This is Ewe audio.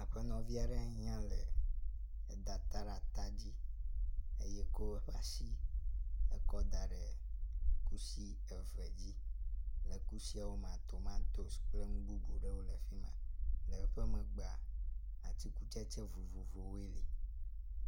Aƒenɔvi aɖe nye yia le da ta ɖe ata dzi eye kɔ eƒe asi ekɔ da ɖe kusi eve dzi, le kusiawo mea tomantos kple nububu aɖewo le afima. Le emegbe atikutsetse vovovowoe le.